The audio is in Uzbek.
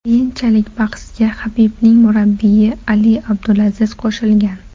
Keyinchalik bahsga Habibning murabbiyi Ali Abdulaziz qo‘shilgan.